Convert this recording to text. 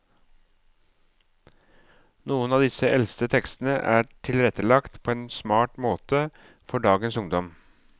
Noen av disse eldste tekstene er tilrettelagt på en smart måte for dagens ungdom.